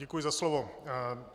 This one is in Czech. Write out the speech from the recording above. Děkuji za slovo.